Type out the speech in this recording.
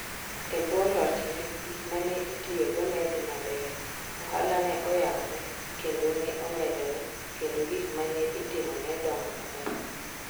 E bwo lochne, gik ma ne itiyogo ne dhi maber, ohala ne oyabere kendo ne omedore kendo gik ma ne itimo ne dongo maber.